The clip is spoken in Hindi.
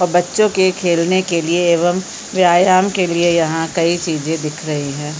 और बच्चों के खेलने के लिए एवं व्यायम के लिए यहाँ कई चीजे दिख रही है।